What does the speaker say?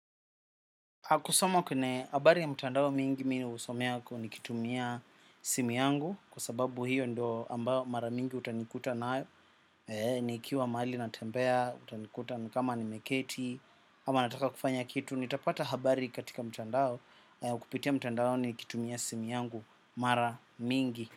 Kusoma kunae habari ya mtandao mingi mi husomea nikitumia simu yangu. Kwa sababu hiyo ndo ambayo mara mingi utanikuta nayo. Nikiwa mahali natembea, utanikuta kama nimeketi. Ama nataka kufanya kitu, nitapata habari katika mtandao kwa kupitia mtandaoni nikitumia simu yangu mara mingi.